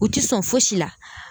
U ti sɔn fosi la